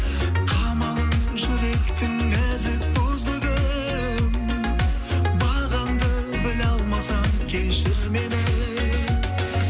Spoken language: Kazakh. қамалын жүректің нәзік бұзды кім бағаңды біле алмасам кешір мені